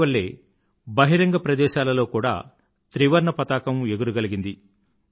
వాటివల్లే బహిరంగ ప్రదేశాలలో కూడా త్రివర్ణపతాకం ఎగురగలిగింది